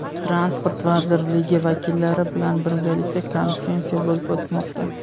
transport vazirligi vakillari bilan birgalikda konferensiya bo‘lib o‘tmoqda.